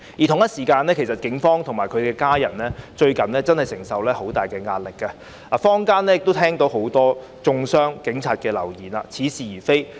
同時，警方及其家人近日承受很大壓力，坊間亦聽到很多中傷警察的流言，似是而非。